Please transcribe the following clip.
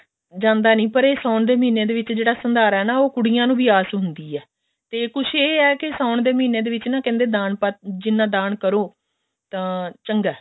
ਜਾਂਦਾ ਨੀ ਪਰ ਇਹ ਸਾਉਣ ਦੇ ਮਹੀਨੇ ਦੇ ਵਿੱਚ ਜਿਹੜਾ ਸੰਧਾਰਾ ਨਾ ਉਹ ਕੁੜੀਆਂ ਨੂੰ ਵੀ ਆਸ ਹੁੰਦੀ ਹੈ ਤੇ ਕੁਛ ਇਹ ਹੈ ਨਾ ਸਾਉਣ ਦੇ ਮਹੀਨੇ ਦੇ ਵਿੱਚ ਨਾ ਕਹਿੰਦੇ ਦਾਨ ਜਿੰਨਾ ਦਾਨ ਕਰੋ ਤਾਂ ਚੰਗਾ